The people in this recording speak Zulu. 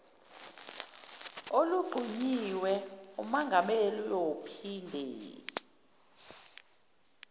olunqunyiwe ummangali uyophinde